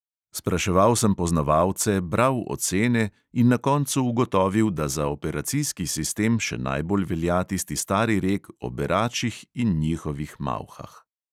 Spraševal sem poznavalce, bral ocene in na koncu ugotovil, da za operacijski sistem še najbolj velja tisti stari rek o beračih in njihovih malhah.